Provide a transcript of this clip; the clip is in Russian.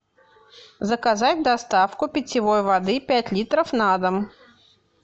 заказать доставку питьевой воды пять литров на дом